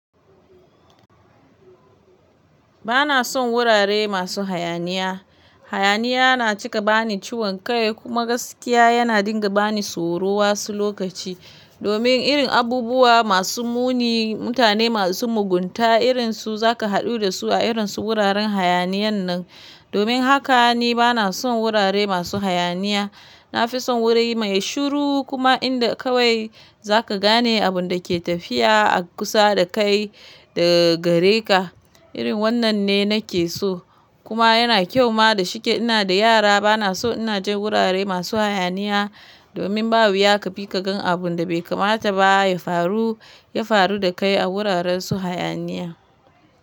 Bana son wurare masu hayaniya. Hayaniya na cika bani ciwon kai kuma gaskiya yana dinga bani tsoro wasu lokaci. Domin irin abubuwa masu muni, mutane masu mugunta irinsu za ka haɗu da su a irin su wuraren hayaniyan nan. Domin haka ni bana son wurare masu hayaniya. Na fi son wuri mai shiru kuma inda kawai za ka gane abun da ke tafiya a kusa da kai da gare ka. Irin wannan ne na ke so kuma yana kyau ma da shike ina da yara bana so in je wurare masu hayaniya domin ba wuya ka bi ka gan abun da bai kamata ba ya faru, ya faru da kai a wuraren su hayaniya.